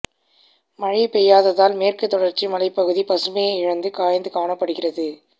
மழை பெய்யாததால் மேற்குத் தொடர்ச்சி மலைப்பகுதி பசுமையை இழந்து காய்ந்து காணப்படுகிறது